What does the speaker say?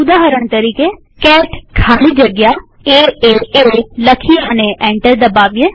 ઉદાહરણ તરીકેcat ખાલી જગ્યા એએ લખીએ અને એન્ટર દબાવીએ